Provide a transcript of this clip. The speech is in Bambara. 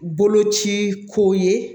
Boloci ko ye